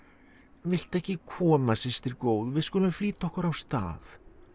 viltu ekki koma systir góð við skulum flýta okkur á stað